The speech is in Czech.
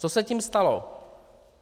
Co se tím stalo?